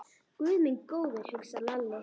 Guð minn góður, hugsaði Lalli.